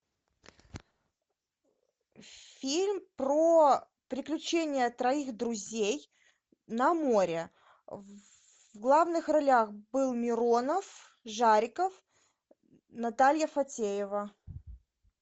фильм про приключения троих друзей на море в главных ролях был миронов жариков наталья фатеева